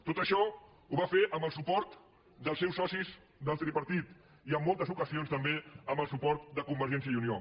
tot això ho va fer amb el suport dels seus socis del tripartit i en moltes ocasions també amb el suport de convergència i unió